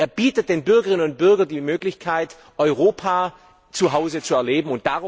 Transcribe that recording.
Er bietet den Bürgerinnen und Bürgern die Möglichkeit, Europa zuhause zu erleben.